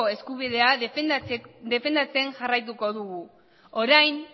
eskubidea defendatzen jarraituko dugu orain